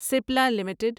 SPLA limited